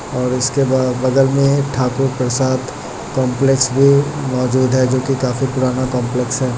और उसके बगल में ठाकुर प्रसाद काम्प्लेक्स भी मौजूद है जो कि काफी पुराना कोम्प्लेक्स है।